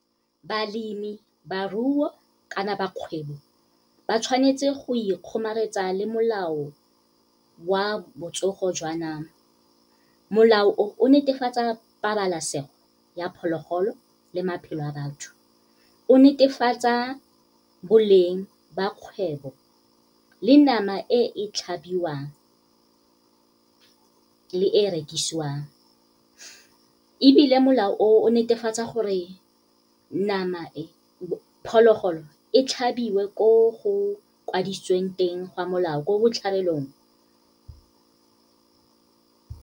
Balemibaruo kana bakgwebi, ba tshwanetse go ikgomaretsa le molao wa botsogo jwa nama. Molao o, o netefatsa pabalesego ya phologolo le maphelo a batho. O netefatsa boleng ba kgwebo, le nama e tlhabiwang, le e rekisiwang. Ebile molao o, o netefatsa gore phologolo e tlhabiwe ko go kwadisitsweng teng gwa molao, ko botlhabelong.